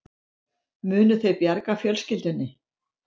Munu þau bjarga fjölskyldunni